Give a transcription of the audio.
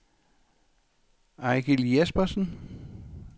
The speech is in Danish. Eigil Jespersen